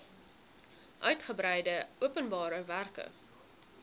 uigebreide openbare werke